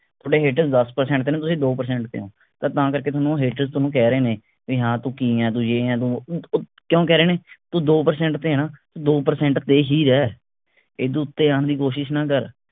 ਥੋਡੇ haters ਦੱਸ percent ਤੇ ਨੇ ਤੁਸੀਂ ਦੋ percent ਤੇ ਹੋ ਤਾਂ ਤਾਂ ਕਰਕੇ ਥੋਨੂੰ haters ਥੋਨੂੰ ਕਹਿ ਰਹੇ ਨੇ ਵੀ ਹਾਂ ਤੂੰ ਕਿ ਹੈਂ ਤੂੰ ਯੇ ਹੈਂ ਤੂੰ ਵੋ ਕਿਓਂ ਕਹਿ ਰਹੇ ਨੇ ਤੂੰ ਦੋ percent ਤੇ ਹੈ ਨਾ ਦੋ percent ਤੇ ਹੀ ਰਹਿ ਰਹਿ, ਐਡੋ ਉਤੇ ਓਣ ਦੀ ਕੋਸ਼ਿਸ ਨਾ ਕਰ।